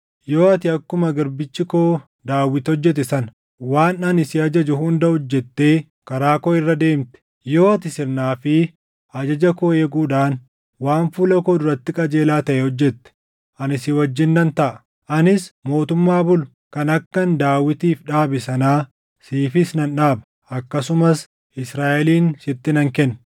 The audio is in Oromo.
Yoo ati akkuma garbichi koo Daawit hojjete sana, waan ani si ajaju hunda hojjettee karaa koo irra deemte, yoo ati sirnaa fi ajaja koo eeguudhaan waan fuula koo duratti qajeelaa taʼe hojjete, ani si wajjin nan taʼa. Anis mootummaa bulu kan akkan Daawitiif dhaabe sanaa siifis nan dhaaba; akkasumas Israaʼelin sitti nan kenna.